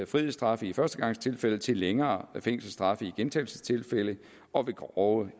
frihedsstraffe i førstegangstilfælde til længere fængselsstraffe i gentagelsestilfælde og ved grove